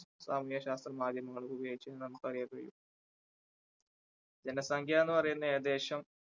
ഭൗമ ശാസ്ത്രീയ മാധ്യമങ്ങൾ ഉപയോഗിച്ചുകൊണ്ട് നമുക്ക് അറിയാൻ കഴിയും ജനസംഖ്യ എന്ന് പറയുന്നത് ഏകദേശം